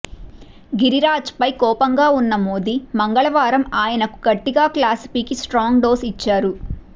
గిరిరాజ్పై కోపంగా ఉన్న మోదీ మంగళవారం ఆయనకు గట్టిగా క్లాసు పీకి స్ర్టాంగ్ డోసు ఇచ్చారు